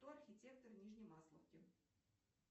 кто архитектор нижней масловки